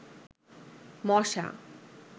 মশা